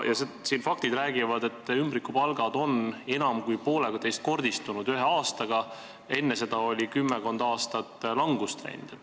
Faktid räägivad, et ümbrikupalgad on ühe aastaga enam kui poolteisekordistunud, enne seda oli kümmekond aastat langustrend.